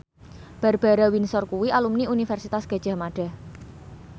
Barbara Windsor kuwi alumni Universitas Gadjah Mada